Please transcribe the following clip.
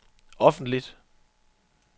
offentligt